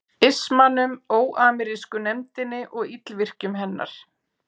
ismanum, óamerísku nefndinni og illvirkjum hennar?